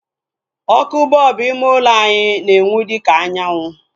Ọkụ bọlbụ ime ulo anyị na-enwu dịka anyanwụ